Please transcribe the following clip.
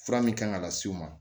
Fura min kan ka las'u ma